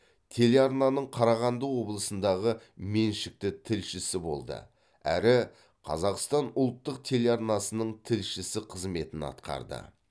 телеарнаның қарағанды облысындағы меншікті тілшісі болды әрі қазақстан ұлттық телеарнасының тілшісі қызметін атқарды